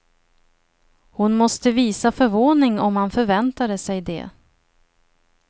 Hon måste visa förvåning om han förväntade sig det.